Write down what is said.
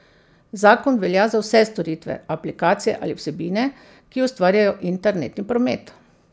Zakon velja za vse storitve, aplikacije ali vsebine, ki ustvarjajo internetni promet.